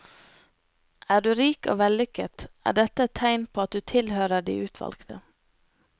Er du rik og vellykket, er dette et tegn på at du tilhører de utvalgte.